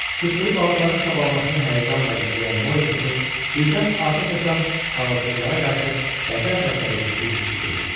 Tutduğu balıqların çabalamasına həyəcanla izləyən Morisotu birdən atəş açan ağılsızlara qarşı qəzəb və səbirsizlik hissi bürüdü.